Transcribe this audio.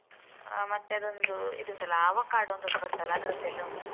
ಹ ಮತ್ತೆ ಅದೊಂದು ಇದುಂಟಲ್ಲ avocado ಅಂತೊಂದು ಬರ್ತದಲ್ಲ ಅದ್ರದ್ದೆಲ್ಲ ಉಂಟು.